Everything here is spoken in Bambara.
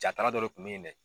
Jaatala dɔ le kun bɛ ye dɛ